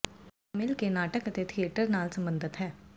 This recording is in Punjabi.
ਕਵਿਤਾ ਮਿਲ ਕੇ ਨਾਟਕ ਅਤੇ ਥੀਏਟਰ ਨਾਲ ਸਬੰਧਤ ਹੈ